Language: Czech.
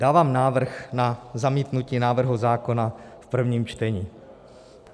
Dávám návrh na zamítnutí návrhu zákona v prvním čtení.